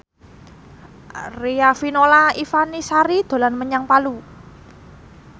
Riafinola Ifani Sari dolan menyang Palu